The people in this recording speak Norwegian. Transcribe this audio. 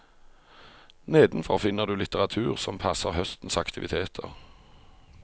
Nedenfor finner du litteratur som passer høstens aktiviteter.